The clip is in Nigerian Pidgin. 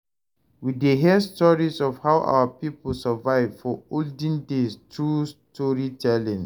We dey hear stories of how our people survive for olden days through storytelling.